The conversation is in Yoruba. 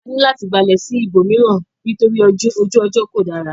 A ní láti balẹ̀ sí ibòmíràn nítorí ojú ọjọ́ kò dára.